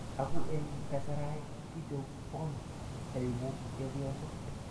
Aku eng kasarai kichobon aeku chepyoso.